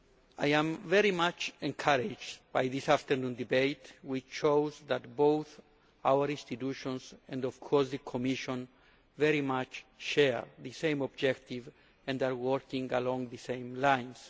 I am very much encouraged by this afternoon's debate, which shows that both our institutions and, of course, the Commission very much share the same objective and are working along the same lines.